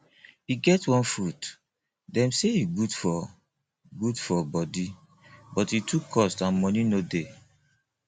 e get one fruit dem say e good for good for body but e too cost and money no dey